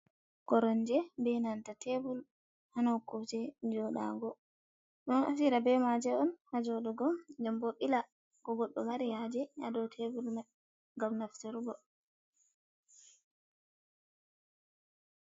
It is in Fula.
Koromje be nanta tebul ha noko je joɗago, do naftira be maje un ha jodugo den bo bila ko goɗɗo mari haje ha dau tebul mai ngam naftarugo.